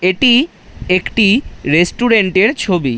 এটি একটি রেস্টুরেন্ট এর ছবি।